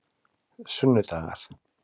sunnudagar